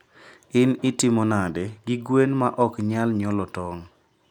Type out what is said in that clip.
In itimo nade gi gwen ma ok nyal nyuolo tong'.